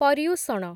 Paryushana